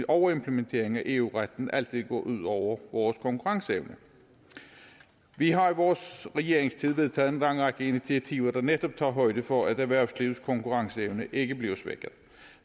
overimplementeringen af eu retten altid går ud over vores konkurrenceevne vi har i vores regeringstid vedtaget en lang række initiativer der netop tager højde for at erhvervslivets konkurrenceevne ikke bliver svækket